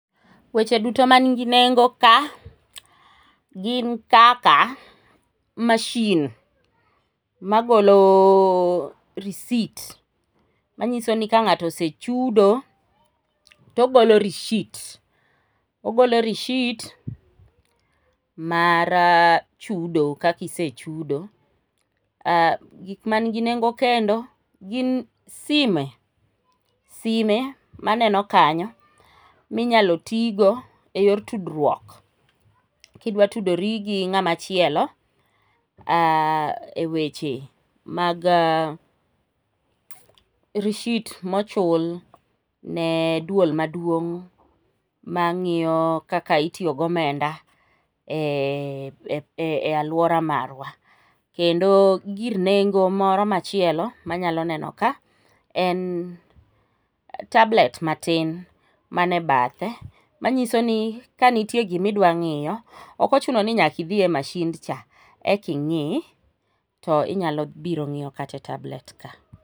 Weche duto manigi nengo ka gin kaka mashin ma golo receipt manyiso ni ka ng'ato osechudo to ogolo receipt, ogolo receipt mar chudo kaka isechudo, gik manigi nengo kendo gin sime, sime maneno kanyo minyalo tigo yor tudruok. Kidwa tudori gi ng'ama chielo,e weche mag receipt mochulne dwol maduong' mang'iyo kaka itiyo gomenda e alwora marwa, kendo girn nengo moro machielo manyalo neno ka ,en tablet matin mane bathe, manyiso ni kanitie gimidwa ng'iyo, ok ochuno ni nyaka idhi e mashindcha,e king'i, to inyalo biro ng'iyo kata e tablet ka.